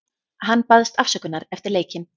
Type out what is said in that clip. Hann baðst afsökunar eftir leikinn.